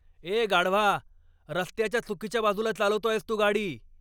ए गाढवा. रस्त्याच्या चुकीच्या बाजूला चालवतो आहेस तू गाडी.